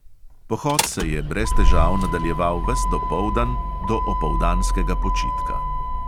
Pohod se je brez težav nadaljeval ves dopoldan do opoldanskega počitka.